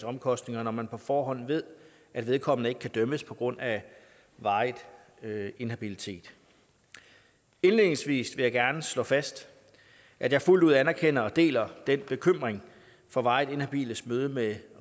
omkostninger når man på forhånd ved at vedkommende ikke kan dømmes på grund af varig inhabilitet indledningsvis vil jeg gerne slå fast at jeg fuldt ud anerkender og deler den bekymring for varigt inhabiles møde med